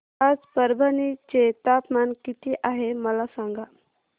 आज परभणी चे तापमान किती आहे मला सांगा